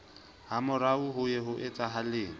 hamorao ho ye ho etsahale